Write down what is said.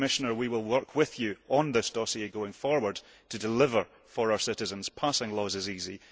Commissioner, we will work with you on this dossier going forward to deliver for our citizens. Passing laws is easy